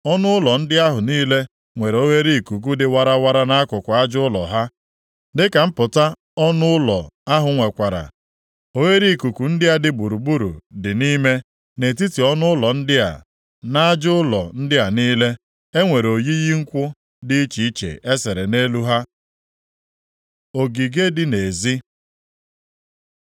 Ọnụ ụlọ ndị ahụ niile nwere oghereikuku dị warawara nʼakụkụ aja ụlọ ha, dịka mpụta ọnụ ụlọ ahụ nwekwara; oghereikuku ndị a dị gburugburu dị nʼime, nʼetiti ọnụ ụlọ ndị a. Nʼaja ụlọ ndị a niile, e nwere oyiyi nkwụ dị iche iche e sere nʼelu ha. Ogige dị nʼezi